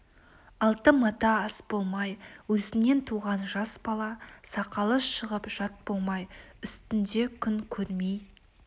алты мата ас болмай өзіңнен туған жас бала сақалы шығып жат болмай үстінде күн көрмей